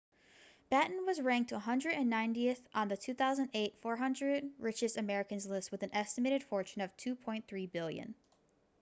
batten was ranked 190th on the 2008 400 richest americans list with an estimated fortune of $2.3 billion